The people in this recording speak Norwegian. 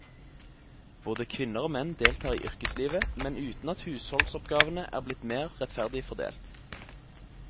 Både kvinner og menn deltar i yrkeslivet, men uten at husholdsoppgavene er blitt mer rettferdig fordelt.